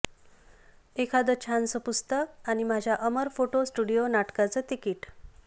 एखादं छानसं पुस्तक आणि माझ्या अमर फोटो स्टुडिओ नाटकाचं तिकीट